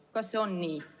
Kas see on nii?